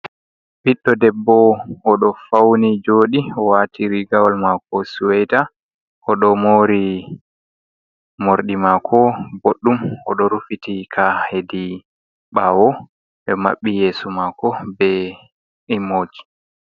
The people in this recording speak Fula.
Ɓiɗɗo debbo, oɗo fauni jooɗi waati rigawal maako suweta, oɗo moori mordi maako boɗɗum, oɗo rufiti ka hedi ɓaawo, ɓe maɓɓi yeeso mako be immoji.